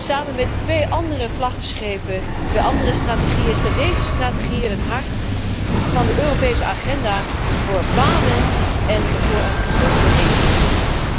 Samen met twee andere vlaggenschepen, twee andere strategieën, staat deze strategie in het hart van de Europese agenda voor banen en voor een gezonde economie.